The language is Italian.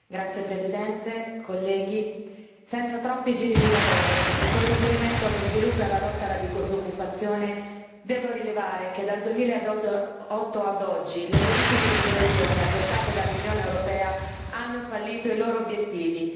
Signora Presidente, onorevoli colleghi, senza troppi giri di parole e con riferimento allo sviluppo e alla lotta alla disoccupazione, devo rilevare che, dal 2008 ad oggi, le politiche di coesione adottate dall'Unione europea hanno fallito i loro obiettivi.